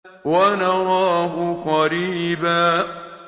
وَنَرَاهُ قَرِيبًا